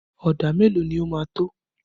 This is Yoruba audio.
Ọ̀dà mélòó ni ó máa tó?